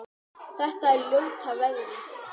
Þetta er ljóta veðrið?